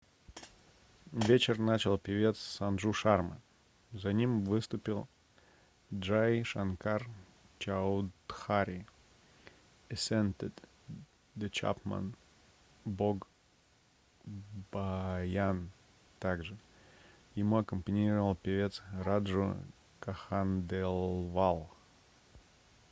вечер начал певец санджу шарма за ним выступил джай шанкар чаудхари esented the chhappan bhog bhajan также ему аккомпанировал певец раджу кханделвал